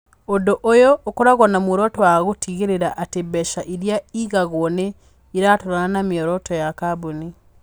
Ũndũ ũyũ ũkoragwo na muoroto wa gũtigĩrĩra atĩ mbeca iria ĩigagwo nĩ iratwarana na mĩoroto ya kambuni.